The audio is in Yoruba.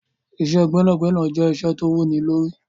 Iṣẹ́ gbẹ́nàgbẹnà jẹ́ iṣẹ́ tó wú ní lórí.